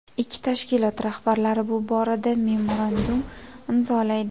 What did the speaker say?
Ikki tashkilot rahbarlari bu borada memorandum imzolaydi.